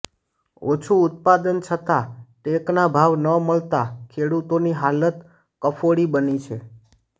ઓછું ઉત્પાદન છતાં ટેકના ભાવ ન મળતા ખેડૂતોની હાલત કફોડી બની છે